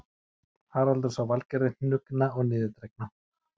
Haraldur sá Valgerði hnuggna og niðurdregna